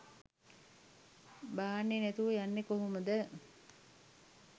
බාන්නේ නැතුව යන්නේ කොහොමද